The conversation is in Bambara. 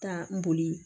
Ka n boli